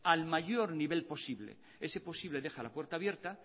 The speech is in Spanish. al mayor nivel posible ese posible deja la puerta abierta